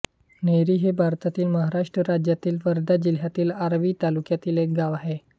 नेरी हे भारतातील महाराष्ट्र राज्यातील वर्धा जिल्ह्यातील आर्वी तालुक्यातील एक गाव आहे